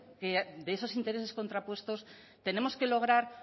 de esos intereses contrapuestos tenemos que lograr